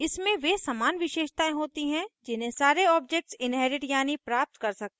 इसमें वे समान विशेषतायें होती हैं जिन्हे सारे objects inherit यानि प्राप्त कर सकते हैं